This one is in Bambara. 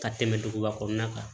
Ka tɛmɛ duguba kɔnɔna kan